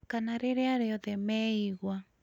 kana rĩrĩa rĩothe meigua.